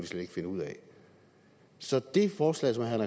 slet ikke finde ud af så det forslag som herre